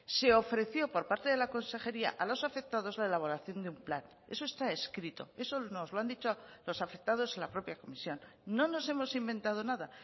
se ofreció por parte de la consejería a los afectados la elaboración de un plan eso está escrito eso nos lo han dicho los afectados en la propia comisión no nos hemos inventado nada